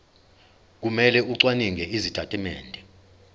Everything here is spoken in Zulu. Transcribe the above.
kumele acwaninge izitatimende